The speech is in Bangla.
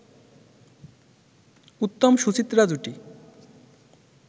উত্তম-সুচিত্রা জুটি